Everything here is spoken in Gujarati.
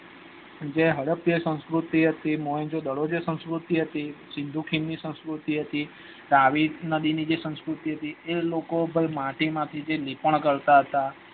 જે હડપ્પા સંસ્કુર્તી હતી મોહેન્દ્ર્જો દડો જે સંસ્કૃતિ હતી સંસ્કૃતિ હતી તાવીસ દિન જે સંસ્કૃતિ હતી એ લોકો પણ માટી માંથી જે લીપણ કરતા હતા